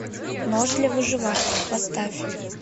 нож для выживания поставь